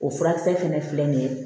O furakisɛ fɛnɛ filɛ nin ye